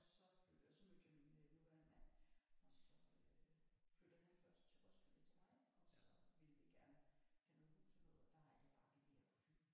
Og så flyttede og så mødte jeg min øh nuværende mand og så øh flyttede han først til Roskilde til mig og så ville ville vi gerne have noget hus og noget og der er det dejligt her på Fyn